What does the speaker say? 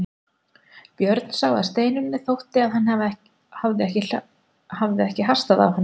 Björn sá að Steinunni þótti að hann hafði hastað á hana.